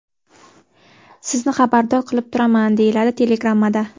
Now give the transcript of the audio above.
Sizni xabardor qilib turaman”, deyiladi telegrammada.